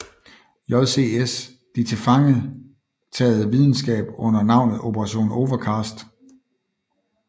JCS de tilfangetaget videnskab under navnet Operation Overcast